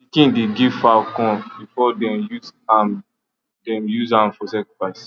pikin dey give fowl corn before dem use am dem use am for sacrifice